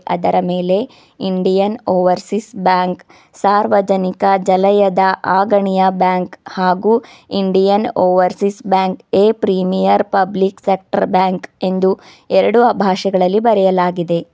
ಅದರ ಮೇಲೆ Indian Overseas Bank ಸಾರ್ವಜನಿಕ ಜಲಯದ ಆಗಣಿಯ ಬ್ಯಾಂಕ್ ಹಾಗೂ Indian Overseas Bank a premier public sector bank ಎಂದು ಎರಡು ಭಾಷೆಗಳಲ್ಲಿ ಬರೆಯಲಾಗಿದೆ.